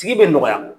Tigi bɛ nɔgɔya